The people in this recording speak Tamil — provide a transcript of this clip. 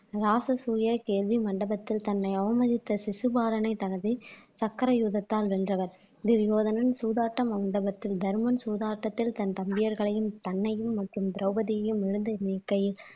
ராசசுயகேதி மண்டபத்தில் தன்னை அவமதித்த சிசுபாரனை தனது சக்கர யுகத்தால் வென்றவர் துரியோதனன் சூதாட்டம் மண்டபத்தில் தருமன் சூதாட்டதில் தன் தம்பியர்களையும் தன்னையும் மற்றும் திரௌபதியையும் இழந்து நிற்கையில்